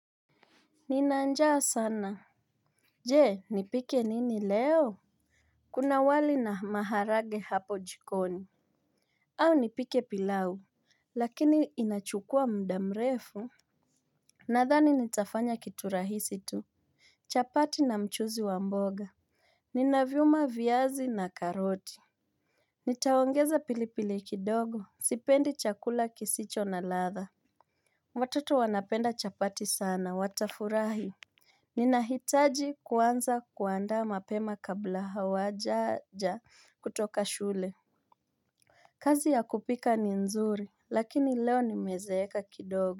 Nina njaa sana. Je, nipike nini leo? Kuna wali na maharage hapo jikoni. Au nipike pilau. Lakini inachukua mdamrefu. Nadhani nitafanya kitu rahisi tu. Chapati na mchuzi wa mboga. Nina vyuma viaxi ns katoti. Nitaongeza pilipili kidogo. Sipendi chakula kisicho na ladha. Watoto wanapenda chapati sana watafurahi. Ninahitaji kuanza kuandaa mapema kabla hawajaja kutoka shule. Kazi ya kupika ni nzuri, lakini leo nimezeeka kidogo.